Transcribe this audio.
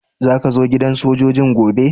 Zaka zo gidan sojoji'n gobe?